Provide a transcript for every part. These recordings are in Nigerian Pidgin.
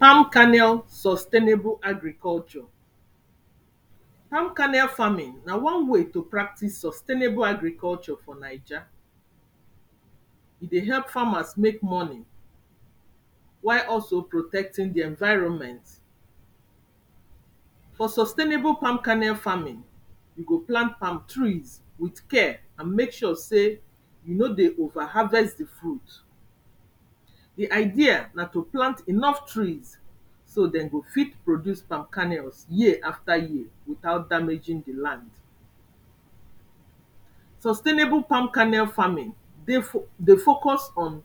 palm kernel sustainable agriculture palm kernel farming na one way to practice sustainable agriculture for naija e dey help farmers make money while also protecting de environment for sustainable palm kanel farming you go plant palm trees with care and make sure sey you no dey over harvest de fruit de idea na to plant enough trees so dem go fit produce palm kernels yea after yea without damaging de land sustainable palm kernel farming dey dey focus on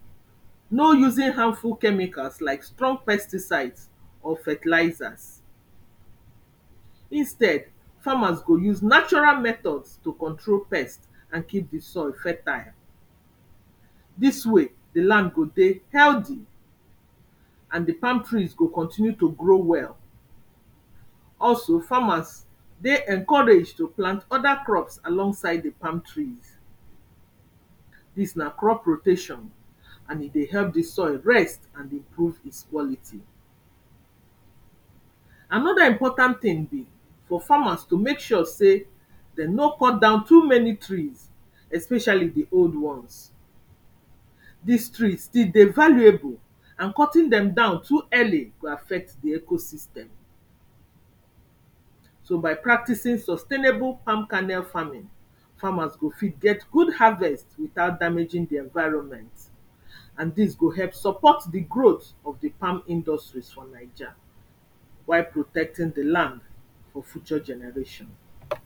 no using harmful chemicals like strong pesticides or fertilizers instead farmers go use natural methods to control pests and keep de soil fertile dis way de land go dey healthy and de palm trees go continue to grow well also farmers dey encouraged to plant oda crops alongside de palm trees dis na crop rotation and e dey help de soil rest and improve its quality anoda important ting be for farmers to make sure sey dem no cut down too many trees especially de old ones dis trees still dey valueable and cutting dem down too early go affect de ecosystem so by practicing sustainable palm kernel farming farmers go fit get good harvest without damaging de environment and dis go help support de growth of de palm industries for naija while protecting de land for future generations